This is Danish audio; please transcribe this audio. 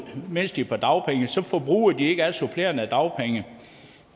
mens de er på dagpenge så forbruger de ikke af de supplerende dagpenge